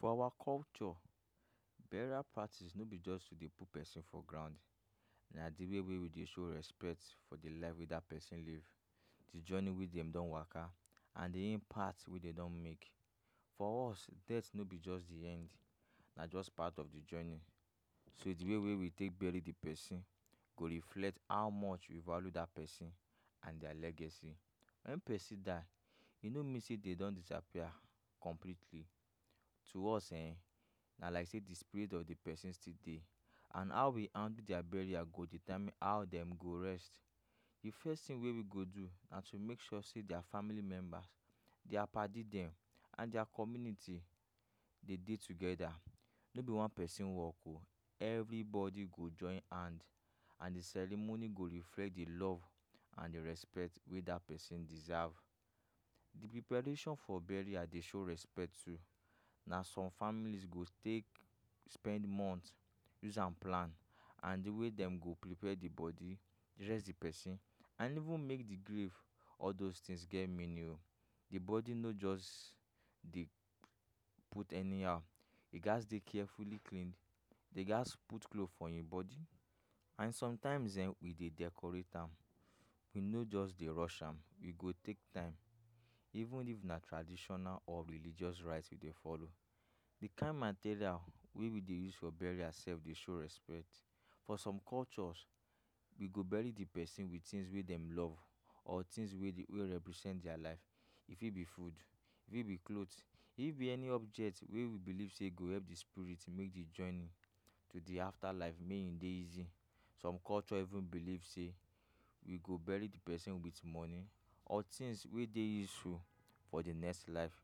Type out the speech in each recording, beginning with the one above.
For our culture, burial parties no be just to dey put pesin for ground. Na di way wey we dey show respect for di life wey that pesin live, di journey wey dem don waka, and di impact wey dem don make for us. Death no be just di end, na just part of di journey, so di way wey we take bury di pesin go reflect how much you value that pesin and dia legacy. Wen pesin die, e no mean say dem don disappear completely. To us ehn, na like say di spirit of di pesin still dey, and how we handle dia burial go determine how dem go rest. Di first tin wey we go do na to make sure say dia family members, dia padi dem and dia community dey dey togeda. No be one pesin wok o. Everybody go join hand, and di ceremony go reflect di love and di respect wey that pesin deserve. Di preparation for burial dey show respect too. Na some families go take spend month use am plan, and di way dem go prepare di body, dress di pesin and even make di grave all those tins get meaning o. Di body no jus dey put anyhow. E gats dey carefully clean, dey gats put cloth for im body, and sometimes um we dey decorate am. We no just dey rush am we go take time, even if na traditional or religious rite we dey follow. Di kain material wey we dey use for burial sef dey show respect. For some cultures, we go bury di pesin wit tins wey dem love or tins wey represent dia life. E fit be food, e fit be cloth, e fit be any object wey we believe say e go help di spirit make di journey to di afterlife make e dey easy. Some culture even believe say we go bury di pesin wit money or tins wey dey useful for di next life.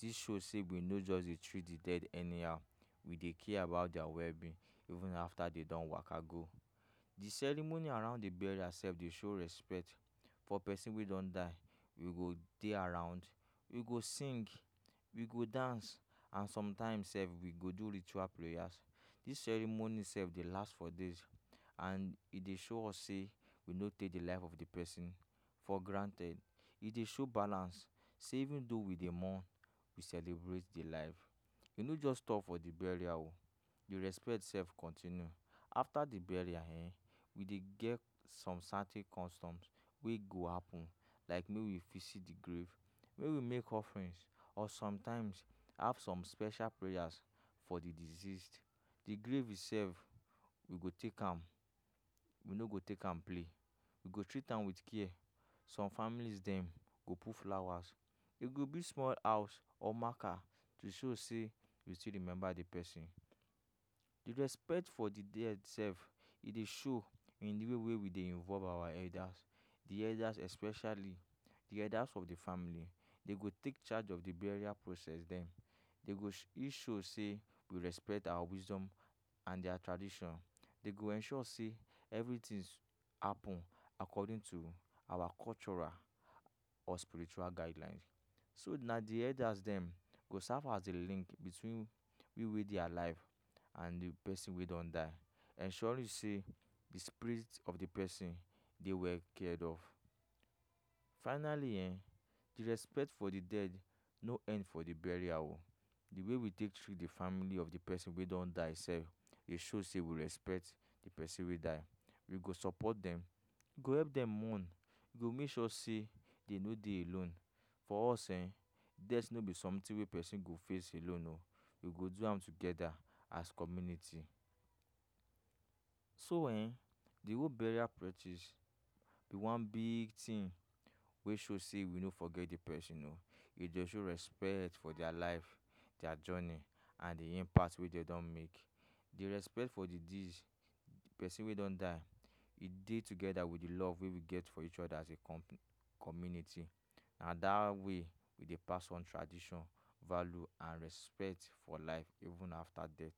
Dis show say we no just dey treat di dead anyhow. We dey care about dia wellbeing even after they don waka go. Di ceremony around di burial sef dey show respect for pesin wey don die. go dey around, we go sing, we go dance, and sometimes sef we go do ritual prayers. Dis ceremonies sef dey last for days, and e dey show us say we no take di life of di pesin for granted. E dey show balance say even though we dey mourn, we celebrate di life. We no just stop for di burial o. Di respect sef continue after di burial ehn, We dey get some certain customs wey go happen like may we fit see di grave, may we make offrins, or sometimes have special prayers for di deceased. Di grave sef, we go take am we no go take am play. We go treat am wit care. Some families dem go put flowers, we go build small house or marker to show say we still remember di pesin. Di respect for di dead sef e dey show in di way we dey involve our elders, di elders especially di elders of di family. Dem go take charge of di burial process []. Dem go make sure say we respect our wisdom and dia tradition. they go ensure say evritins happen according to our cultural or spiritual guidelines. So na di elders dem go serve as di link between we wey dey alive and di pesin wey don die, ensuring say di spirit of di pesin dey well cared of. Finally ehn, di respect for di dead no end for di burial o. Di way we take treat di family of di pesin wey don die sef dey show say we respect di pesin wey die. We go support dem, go help dem mourn, go make sure say dem no dey alone. For us[um],death no be somtin wey pesin go face alone o you go do am togeda as community. So ehn, di whole burial practice be one big tin wey show say we no forget di pesin o. E dey show respect for dia life, dia journey and di impact wey dem don make. Di respect for di deceased, pesin wey don die, e dey togeda wit di love wey we get for each oda as a company, community. Na dat way we dey pass one tradition, value, and respect for life even after death.